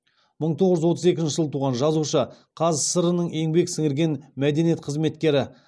мың тоғыз жүз отыз екінші жылы туған жазушы қазақ сср інің еңбек сіңірген мәдениет қызметкері